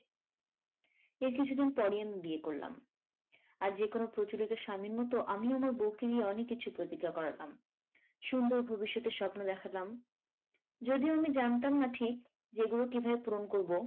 এর কিছুদিন পরেই আমি বিয়ে করলাম আর যেকোনো প্রচলিত স্বামীর মত আমিও আমার বউকে অনেক কিছু প্রতিজ্ঞা করাতাম। সুন্দর ভবিষ্যতের স্বপ্ন দেখালাম যদিও আমি জানতাম না ঠিক যে এগুলো কিভাবে পূরণ করবো?